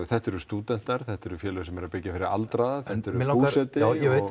þetta eru stúdentar þetta eru félög sem eru að byggja fyrir aldraða þetta er Búseti